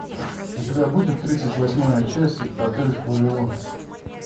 у тебя будет тридцать восьмая часть отель вавилон